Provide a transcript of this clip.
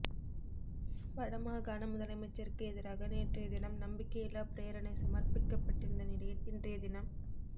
வடமாகாண முதலமைச்சருக்கு எதிராக நேற்றைய தினம் நம்பிக்கையில்லா பிரேரணை சமர்பிக்கப்பட்டிருந்த நிலையில் இன்றைய தினம்